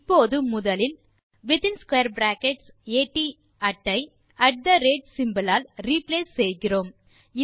இப்போது முதலில் at ஐ ஆல் ரிப்ளேஸ் செய்கிறோம்